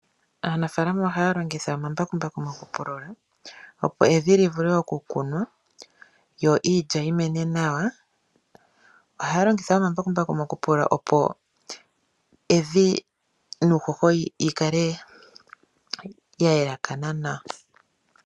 Aanafaalama ohaya longitha omambakumbaku mokupulula opo evi li vule okukunwa yo iilya yi mene nawa. Ohaya longitha woo omambakumbaku mokupulula opo evi nuuhoho yi kale ya laakana nawa.